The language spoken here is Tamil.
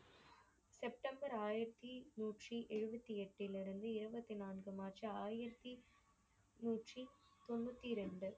செப்டம்பர் ஆயிரத்தி நூற்றி எழுபத்தில் எட்டில் இருந்து இருபத்து நான்கு மார்ச் ஆயிரத்தி நூற்றி தொண்ணூத்தி இரண்டு